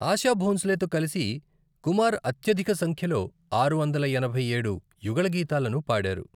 ఆశా భోంస్లేతో కలిసి కుమార్ అత్యధిక సంఖ్యలో ఆరు వందల ఎనభైఏడు యుగళగీతాలను పాడారు.